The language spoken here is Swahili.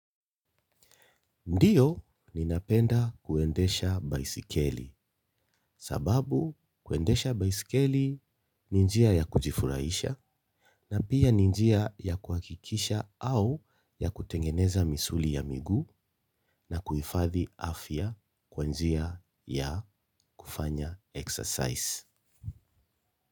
Ndiyo ninapenda kuendesha baiskeli sababu kuendesha baiskeli ni njia ya kujifurahisha na pia ni njia ya kuhakikisha au ya kutengeneza misuli ya miguu na kuhifadhi afya kwa njia ya kufanya exercise.